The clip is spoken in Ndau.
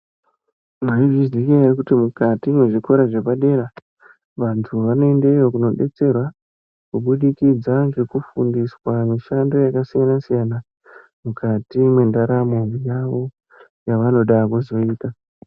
Mwaizviziya ere kuti mukati mwezvikora zvepadera vantu vanoendeyo kunodetserwa kubudikidzwa ngekufundiswa mishando yakasiyanasiyana mukati mwendaramo yavo yavanoda kuzoita.